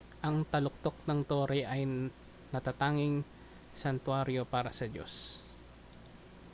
ang taluktok ng tore ay natatanging santuwaryo para sa diyos